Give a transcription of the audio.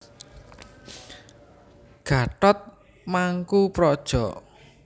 Gatot Mangkoepradja